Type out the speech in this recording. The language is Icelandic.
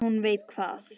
En hún veit hvað